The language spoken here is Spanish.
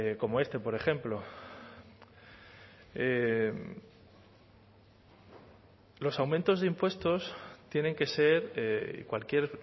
como este por ejemplo los aumentos de impuestos tienen que ser cualquier